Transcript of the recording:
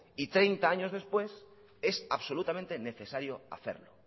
y treinta años después es absolutamente necesario hacerlo